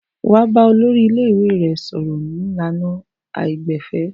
Wà á bá olórí ilé-ìwé rẹ sọ̀rọ̀ ní ìlànà àìgbẹ̀fẹ̀.